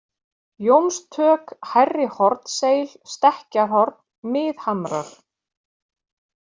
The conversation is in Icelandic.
Jónstök, Hærri-Hornseil, Stekkjarhorn, Miðhamrar